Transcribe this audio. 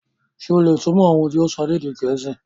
Ṣe o le túmọ̀ ohun ti o sọ ni èdè Gẹẹsi?